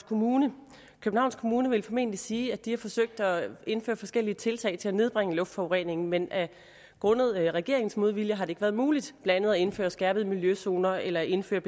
kommune københavns kommune vil formentlig sige at de har forsøgt at indføre forskellige tiltag til at nedbringe luftforureningen men grundet regeringens modvilje har ikke været muligt blandt andet at indføre skærpede miljøzoner eller at indføre